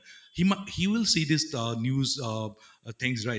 he will see this uh news uh things right